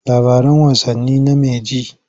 Labaran wasanni name ji.